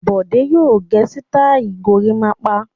Bọ̀dé yóò gẹ sítáálì gorímápá.